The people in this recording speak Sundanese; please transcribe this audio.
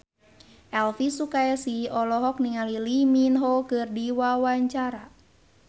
Elvi Sukaesih olohok ningali Lee Min Ho keur diwawancara